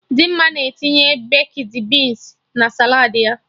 Dimma na-etinye bekdi binsi na saladị ya